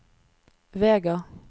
Vega